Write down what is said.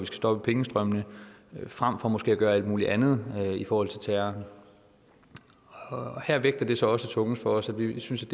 stoppe pengestrømmene frem for måske at gøre alt muligt andet i forhold til terror her vægter det så tungest for os at vi synes